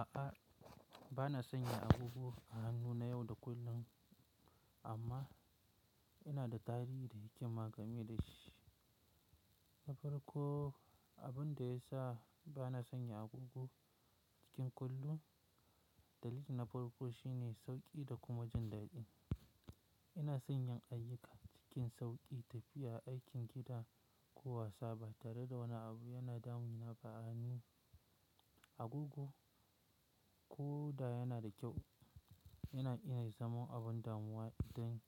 A'a, ba na sanya agogo a hannu na yau da kullum, amma ina da tarihi da hikima game da shi. Na farko, abin da ya sa ba na sanya agogo cikin kullum, dalili na farko shine sauƙi da kuma jin daɗi. Ina son yin ayyuka cikin sauƙi, tafiya, aikin gida ko wasa ba tare da wani abu yana damu na ba a hannu, Agogo ko da yana da kyau, yana iya zama abin damuwa idan